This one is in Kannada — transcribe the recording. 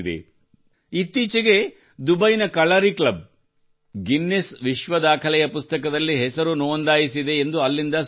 ಇತ್ತೀಚೆಗೆ ದುಬೈನ ಕಲಾರಿ ಕ್ಲಬ್ ಗಿನ್ನೀಸ್ ವಿಶ್ವ ದಾಖಲೆಯ ಪುಸ್ತಕದಲ್ಲಿ ಹೆಸರು ನೋಂದಾಯಿಸಿದೆ ಎಂದು ಅಲ್ಲಿಂದ ಸುದ್ದಿ ಬಂದಿದೆ